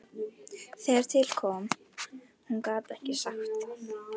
Þegar til kom,- hún gat ekki sagt það.